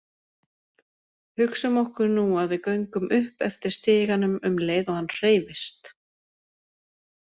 Hugsum okkur nú að við göngum upp eftir stiganum um leið og hann hreyfist.